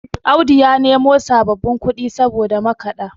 Audu ya nemo sababbin kudi saboda makada